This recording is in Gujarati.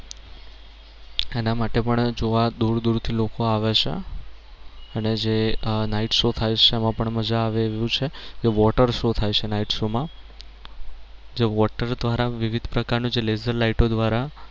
એના માટે પણ જોવા પણ દૂર દૂર થી લોકો આવે છે અને જે આહ night show થાય છે એમાં પણ મજા આવે એવું છે. જે watershow થાય છે night show માં જે water દ્વારા વિવધ પ્રકાર નું જે laser lighto દ્વારા